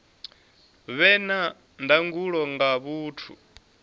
vhe na ndangulo nga vhathu